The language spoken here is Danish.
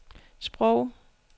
sprog